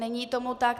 Není tomu tak.